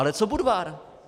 Ale co Budvar?